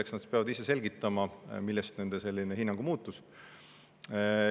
Eks nad peavad ise selgitama, millest selline hinnangu muutus.